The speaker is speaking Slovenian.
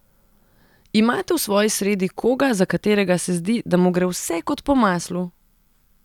Imate v svoji sredi koga, za katerega se zdi, da mu gre vse kot po maslu?